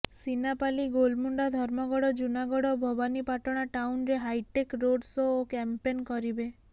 ସିନାପାଲି ଗୋଲମୁଣ୍ଡା ଧର୍ମଗଡ଼ ଜୁନାଗଡ଼ ଓ ଭବାନୀପାଟଣା ଟାଉନରେ hitech road show ଓ କ୍ୟାମ୍ପେନ କରିବେ